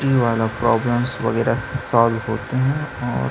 ये वाला प्रोब्लम्स वगैरा सोल्व